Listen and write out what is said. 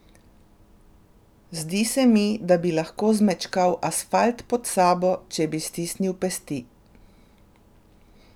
Zdi se mi, da bi lahko zmečkal asfalt pod sabo, če bi stisnil pesti.